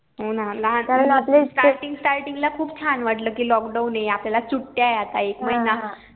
हो ना starting starting ला खूप छान वाटलं कि lockdown ये आपल्याला सुट्या ये आता एक महिना